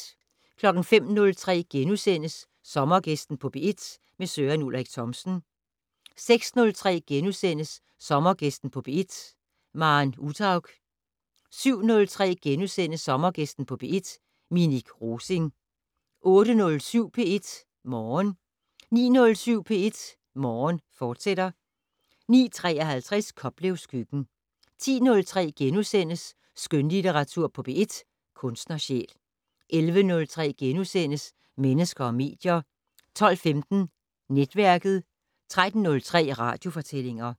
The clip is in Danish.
05:03: Sommergæsten på P1: Søren Ulrik Thomsen * 06:03: Sommergæsten på P1: Maren Uthaug * 07:03: Sommergæsten på P1: Minik Rosing * 08:07: P1 Morgen 09:07: P1 Morgen, fortsat 09:53: Koplevs køkken 10:03: Skønlitteratur på P1: Kunstnersjæl * 11:03: Mennesker og medier * 12:15: Netværket 13:03: Radiofortællinger